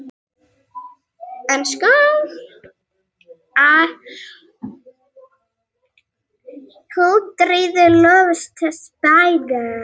Hildiríður, lækkaðu í hátalaranum.